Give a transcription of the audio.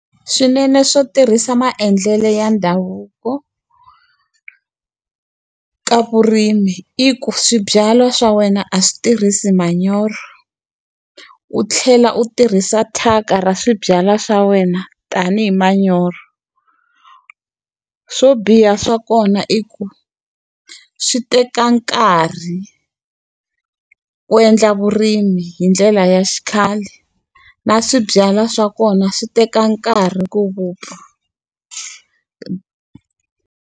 Swinene swo tirhisa maendlelo ya ndhavuko ka vurimi i ku swibyalwa swa wena a swi tirhisi manyoro. U tlhela u tirhisa thyaka ra swibyalwa swa wena, tanihi manyoro. Swo biha swa kona i ku, swi teka nkarhi ku endla vurimi hi ndlela ya xikhale. Na swibyalwa swa kona swi teka nkarhi ku vupfa.